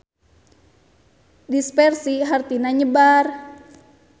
Dispersi hartina nyebar.